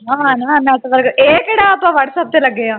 ਨਾਨਾ network ਇਹ ਕਿਹੜੇ ਆਪਾਂ whatsapp ਤੇ ਲੱਗੇ ਹਾਂ